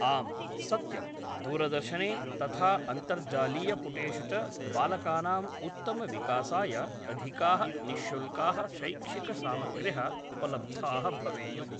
आम् सत्यं दूरदर्शने तथा अन्तर्जालीयपुटेषु च बालकानां उत्तमविकासाय अधिकाः निश्शुल्काः शैक्षिकसामग्र्यः उपलब्धाः भवेयुः